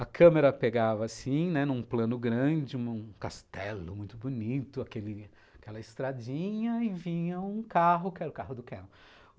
A câmera pegava assim, né, num plano grande, num castelo muito bonito, aquela estradinha, e vinha um carro, que era o carro do Canon.